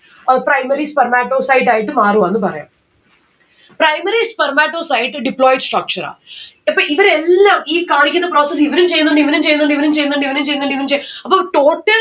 ഏർ primary spermatocyte ആയിട്ട് മാറും എന്ന് പറയാം. primary spermatocyte deployed structure ആ. അപ്പോ ഇവരെല്ലാം ഈ കാണിക്കുന്ന process ഇവരും ചെയ്നിണ്ട് ഇവനും ചെയ്നിണ്ട് ഇവനും ചെയ്നിണ്ട് ഇവനും ചെയ്നിണ്ട് ഇവനും ചെയ് അപ്പോ total